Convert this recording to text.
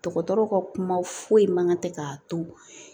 Dɔgɔtɔrɔw ka kuma foyi man kan tɛ k'a to